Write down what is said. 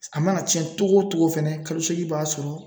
A mana cɛn cogo cogo fɛnɛ kalo seegin i b'a sɔrɔ